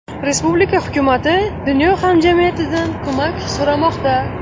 Respublika hukumati dunyo hamjamiyatidan ko‘mak so‘ramoqda.